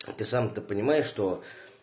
ты сам-то понимаешь что